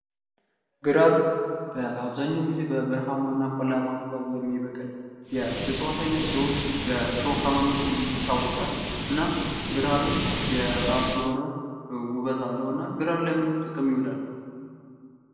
ግራር በአብዛኛውን ጊዜ በበረሃማ እና በቆላማ አካባቢ የሚበቅል የእፅዋት አይነት ሲሆን በእሾሃማነቱ ይታወቃል ። እና ግራርም የራሱ የሆነ ውበት አለው እና ግራር ለምን ጥቅም ይውላል ?